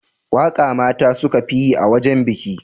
Waka mata ne suka fi yi a wajen biki.